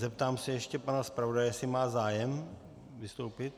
Zeptám se ještě pana zpravodaje, jestli má zájem vystoupit.